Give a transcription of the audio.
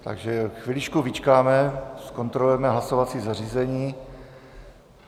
Takže chviličku vyčkáme, zkontrolujeme hlasovací zařízení.